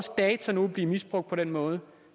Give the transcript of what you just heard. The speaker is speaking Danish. data nu vil blive misbrugt på den måde